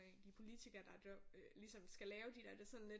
De politikere der ligesom skal lave de der det er sådan lidt